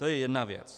To je jedna věc.